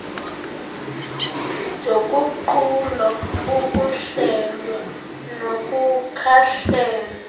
zoguqulo ukuhlelwa nokukhangelwa